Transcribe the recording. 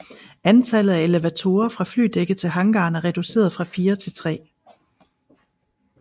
Antallet af elevatorer fra flydækket til hangaren er reduceret fra fire til tre